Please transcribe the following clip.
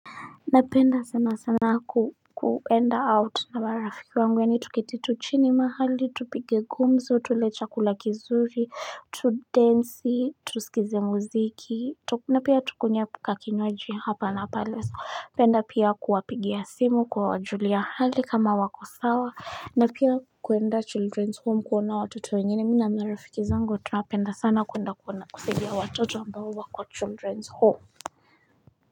Napenda sana sana kuenda out na marafiki wangu yani tuketi tu chini mahali, tupige gumzo, tule chakula kizuri, tudensi, tusikize muziki, na pia tukunye kakinywaji hapa na pale, napenda pia kuwapigia simu kuwajulia hali kama wako sawa na pia kuenda children's home kuona watoto wengeni mimi na marafiki zangu tunapenda sana kuenda kuona kusaidia watoto ambao wako children's home.